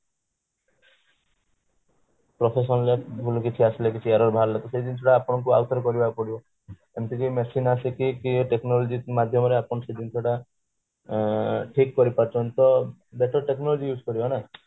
professional ରେ ଭୁଲ କିଛି ଆସିଲେ କିଛି error ବାହାରିଲେ ତ ସେଇ ଜିନିଷ ଟା ଆପଣଙ୍କୁ ଆଉ ଥରେ କରିବାକୁ ପଡିବ ଏମିତି କି machine ଆସିକି technology ମାଧ୍ୟମରେ ସେଇ ଜିନିଷ ଟା ଠିକ କରି ପାରୁଛନ୍ତି ତ better technology use କରିବା ନା